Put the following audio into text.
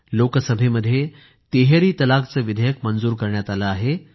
लोकसभेमध्ये तिहेरी तलाक विषयीचे विधेयक मंजूर करण्यात आले आहे